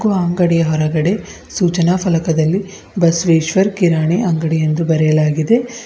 ಆ ಅಂಗಡಿಯ ಹೊರಗಡೆ ಸೂಚನಾ ಫಲಕದಲ್ಲಿ ಬಸವೇಶ್ವರ್ ಕಿರಾಣಿ ಅಂಗಡಿ ಎಂದು ಬರೆಯಲಾಗಿದೆ.